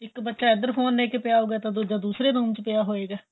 ਇੱਕ ਬੱਚਾ ਇੱਧਰ ਫੋਨ ਲੈਕੇ ਪਿਆਂ ਹਉਗਾ ਤੇ ਦੂਜਾ ਦੂਸਰੇ ਰੂਮ ਵਿੱਚ ਪਿਆਂ ਹੋਏਗਾ